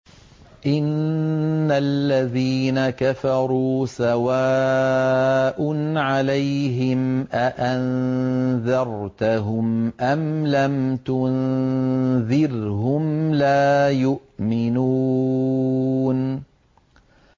إِنَّ الَّذِينَ كَفَرُوا سَوَاءٌ عَلَيْهِمْ أَأَنذَرْتَهُمْ أَمْ لَمْ تُنذِرْهُمْ لَا يُؤْمِنُونَ